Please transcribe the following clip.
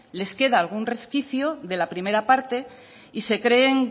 les queda algún resquicio de la primera parte y se creen